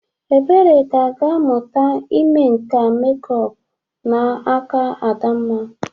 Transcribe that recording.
Ebere ga-aga mụta ime nka mekup n'aka Adamma.